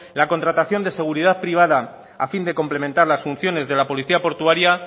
la contratación de seguridad privada a fin de complementar las funciones de la policía portuaria